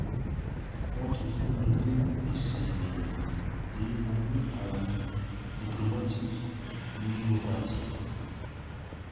Wọ́n ti fún mi ní èsì àyẹ̀wò pé mo ní àrùn idiopathic myopathy